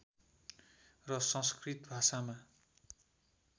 र संस्कृत भाषामा